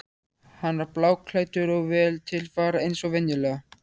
Hann var bláklæddur og vel til fara eins og venjulega.